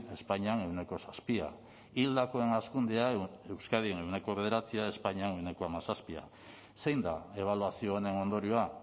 espainian ehuneko zazpia hildakoen hazkundea euskadin ehuneko bederatzia espainian ehuneko hamazazpia zein da ebaluazio honen ondorioa